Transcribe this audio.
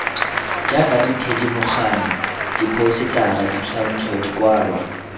jaaka dithedimogane diphousetara ditshwantsho dikwalwa